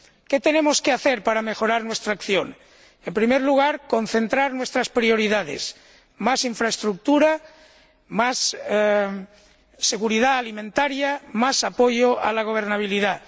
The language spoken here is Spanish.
¿Qué tenemos que hacer para mejorar nuestra acción? En primer lugar, concentrar nuestras prioridades más infraestructura, más seguridad alimentaria, más apoyo a la gobernabilidad.